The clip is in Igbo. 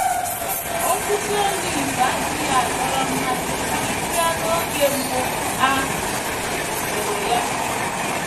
Osisi olive adịghị adọrọ mmasị karịsịa n’oge mbụ a hụrụ ya.